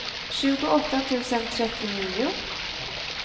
tjugoåtta tusen trettionio